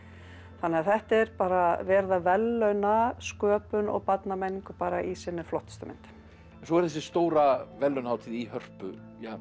þannig að þetta er bara verið að verðlauna sköpun og barnamenningu bara í sinni flottustu mynd svo er þessi stóra verðlaunahátíð í Hörpu